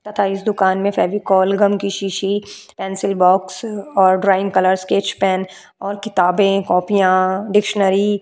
तथा इस दुकान में फेविकोल गम की सीसी पेंसिल बॉक्स और ड्राइंग कलर स्केच पेन और किताबें कॉपियां डिक्शनरी --